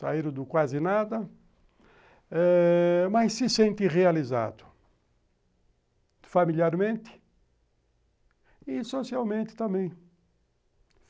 saíram do quase nada eh mas se sente realizado, familiarmente e socialmente também.